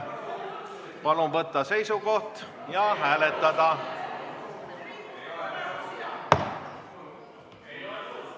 Palun võtta seisukoht ja hääletada!